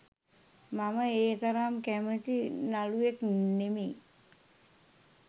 මම ඒ තරම් කැමති නළුවෙක් නෙමෙයි.